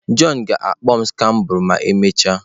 John ga-akpọ m scrabble ma emechaa.